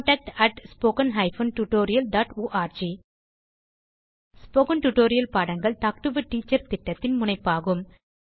contact at spoken hyphen tutorial dot org spoken tutorial பாடங்கள் talk to a teacher திட்டத்தின் முனைப்பாகும்